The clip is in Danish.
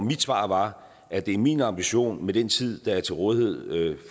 mit svar var at det er min ambition med den tid der er til rådighed